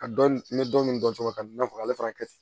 Ka dɔn n bɛ dɔni dɔn cogo min na i n'a fɔ ale fana ka